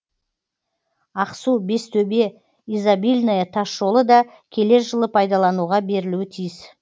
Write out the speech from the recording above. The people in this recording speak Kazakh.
ақсу бестөбе изобильное тасжолы да келер жылы пайдалануға берілуі тиіс